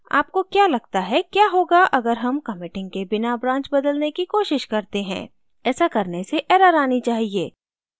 आपको क्या लगता है क्या होगा अगर हम committing के बिना branch बदलने की कोशिश करते हैं ऐसा करने से error आनी चाहिए